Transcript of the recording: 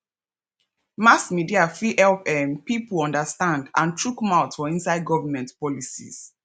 mass media fit help um pipo understand and chook mouth for inside government policies